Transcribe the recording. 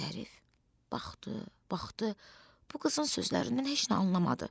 Zərif baxdı, baxdı, bu qızın sözlərindən heç nə anlamadı.